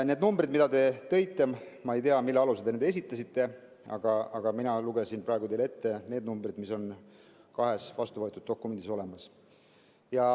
Need numbrid, mida te tõite – ma ei tea, mille alusel te need esitasite, aga mina lugesin praegu teile ette need numbrid, mis on kahes vastuvõetud dokumendis.